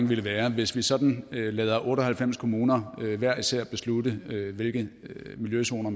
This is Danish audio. ville være at hvis vi sådan lader otte og halvfems kommuner hver især beslutte hvilke miljøzoner